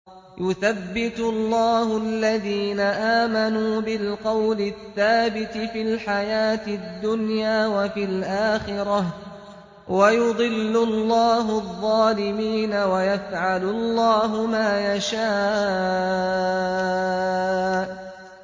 يُثَبِّتُ اللَّهُ الَّذِينَ آمَنُوا بِالْقَوْلِ الثَّابِتِ فِي الْحَيَاةِ الدُّنْيَا وَفِي الْآخِرَةِ ۖ وَيُضِلُّ اللَّهُ الظَّالِمِينَ ۚ وَيَفْعَلُ اللَّهُ مَا يَشَاءُ